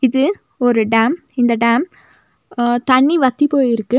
இது ஒரு டேம் இந்த டேம் ஆ தண்ணி வத்தி போயிருக்கு.